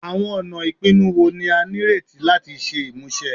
Awọn ọna ipinnu wo ni a nireti lati ṣe imuse?